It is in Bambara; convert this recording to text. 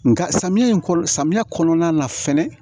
Nga samiya in kɔnɔ samiya kɔnɔna na fɛnɛ